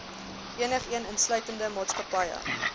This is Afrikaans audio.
enigeen insluitende maatskappye